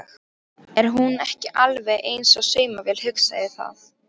Er hún ekki alveg eins og saumavél, hugsaði það.